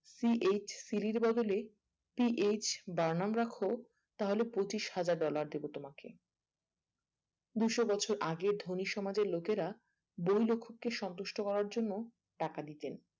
PHCD বদলে CH Barnum রাখো তাহলে পঁচিশ হাজার dollar দেবো তোমাকে দুশো বছর আগে ধনী সমাজের লোকেরা বৈলক্ষকে সন্তুষ্ট করার জন্য টাকা দিতেন